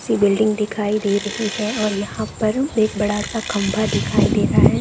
ऊँची बिल्डिंग दिखाई दे रही है और यहाँ पर एक बड़ा-सा एक खम्बा दिखाई दे रहा है।